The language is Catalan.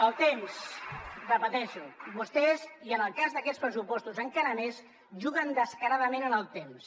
el temps ho repeteixo vostès i en el cas d’aquests pressupostos encara més juguen descaradament en el temps